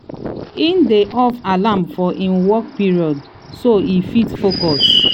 e dey off alarm for him work period so e fit focus.